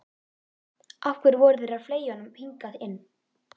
Af hverju voru þeir að fleygja honum hingað inn.